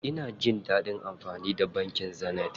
Ina jin dadin amfani da bankin Zenith.